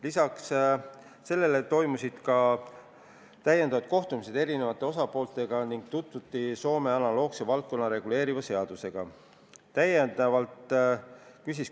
Lisaks sellele toimusid täiendavad kohtumised eri osapooltega ning tutvuti Soomes seda valdkonda reguleeriva analoogse seadusega.